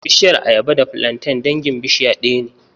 Bishiyar ayaba da filanten dangin bishiya ɗaya ne